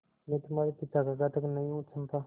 मैं तुम्हारे पिता का घातक नहीं हूँ चंपा